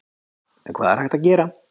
En hvað er hægt að gera?